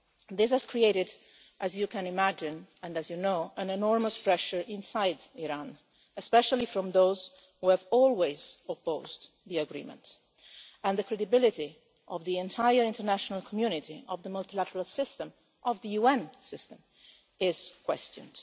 This has created, as you can imagine, and as you know, enormous pressure inside Iran, especially from those who have always opposed the agreement, and the credibility of the entire international community, of the multilateral system, of the UN system, is being questioned.